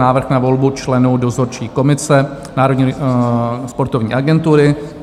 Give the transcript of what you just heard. Návrh na volbu členů Dozorčí komise Národní sportovní agentury